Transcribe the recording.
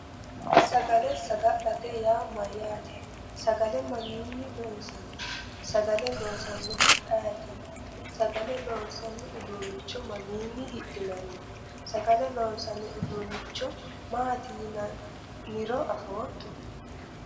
Sagale sagalete yaa mayyaate sagale mayinni loonsanni sagale loosannohu ayeeti sagale loonsanni uduunnicho mamiinni hidhinanni sagale loonsanni uduunnicho maati yinanniro afootto